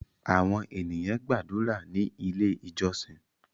Àwọn ènìyàn gbàdúrà ní ilé ìjósìn